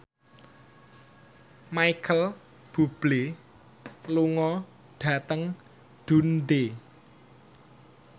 Micheal Bubble lunga dhateng Dundee